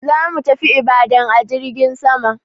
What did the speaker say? Zamu tafi Ibadan a jirgin sama.